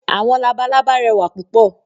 “Àwọn labalábá"rẹwà púpọ̀.